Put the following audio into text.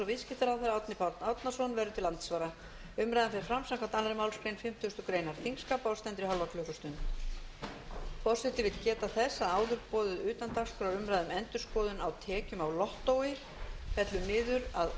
viðskiptaráðherra árni páll árnason verður til andsvara umræðan fer fram samkvæmt annarri málsgrein fimmtugustu grein þingskapa og stendur í hálfa klukkustund forseti vill geta þess að áður boðuð utandagskrárumræða um endurskoðun